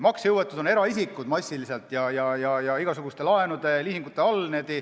Maksejõuetud on eraisikud igasuguste laenude-liisingute all.